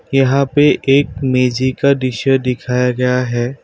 यहाँ पे एक मेजी का दृश्य दिखाया गया है।